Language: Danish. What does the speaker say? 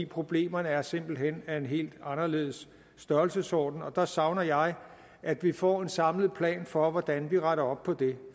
problemerne er simpelt hen af en helt anderledes størrelsesorden og der savner jeg at vi får en samlet plan for hvordan vi retter op på det